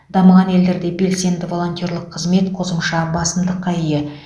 дамыған елдерде белсенді волонтерлік қызмет қосымша басымдыққа ие